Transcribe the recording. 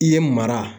I ye mara